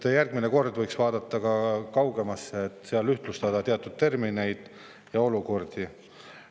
Jah, järgmine kord võiks vaadata ka kaugemale ja ühtlustada teatud termineid ja olukordi.